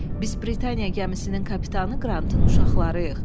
Biz Britaniya gəmisinin kapitanı Qrantın uşaqlarıyıq.